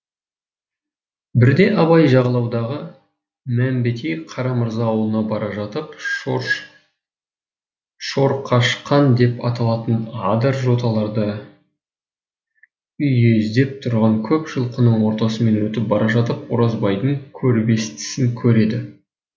бірде абай жайлаудағы мәмбетей қарамырза ауылына бара жатып шорқашқан деп аталатын адыр жоталарда үйездеп тұрған көп жылқының ортасымен өтіп бара жатып оразбайдың кербестісін көреді